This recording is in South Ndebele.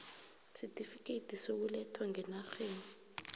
sesitifikhethi sokulethwa ngenarheni